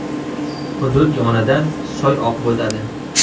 Hudud yonidan soy oqib o‘tadi.